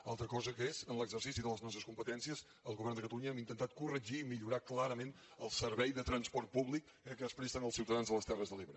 una altra cosa és que en l’exercici de les nostres competències el govern de catalunya hem intentat corregir i millorar clarament el servei de transport públic que es presta als ciutadans de les terres de l’ebre